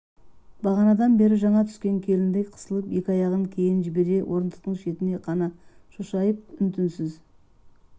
бағанадан бері жаңа түскен келіндей қысылып екі аяғын кейін жібере орындықтың шетін қана шошайып үн-түнсіз